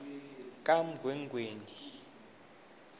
kamgwengweni